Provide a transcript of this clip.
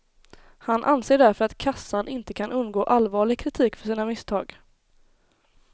Han anser därför att kassan inte kan undgå allvarlig kritik för sina misstag.